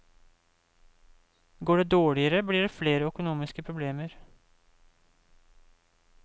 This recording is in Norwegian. Går det dårligere, blir det flere økonomiske problemer.